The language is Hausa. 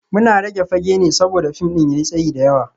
Muna rage fage ne saboda fim ɗin ya yi tsayi da yawa